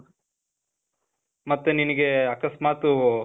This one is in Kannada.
ಮತ್ತೆ ನಿನಿಗೆ, ಅಕಸ್ಮಾತೂ,